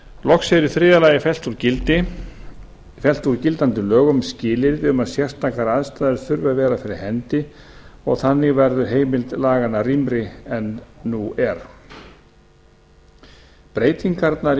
loks er í þriðja lagi fellt úr gildandi lögum skilyrði um að sérstakar aðstæður þurfi að vera fyrir hendi og þannig verður heimild laganna rýmri en nú er breytingarnar í